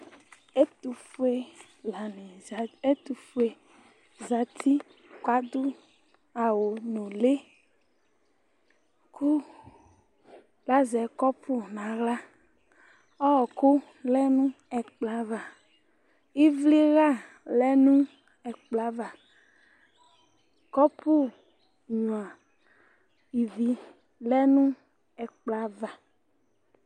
Ɛtʋfue lanɩ zati, ɛtʋfue zati kʋ adʋ awʋnʋlɩ kʋ lazɛ kɔpʋ nʋ aɣla Ɔɣɔkʋ lɛ nʋ ɛkplɔ ava Ɩvlɩɣa lɛ nʋ ɛkplɔ ava Kɔpʋnyuǝ ivi lɛ nʋ ɛkplɔ ava